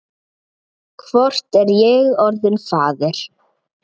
Hvort er ég orðinn faðir?